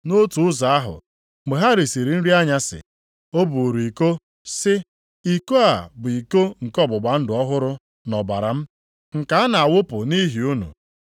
Nʼotu ụzọ ahụ, mgbe ha risiri nri anyasị o buuru iko sị, “Iko a bụ iko nke ọgbụgba ndụ ọhụrụ nʼọbara m, nke a na-awụpụ nʼihi unu.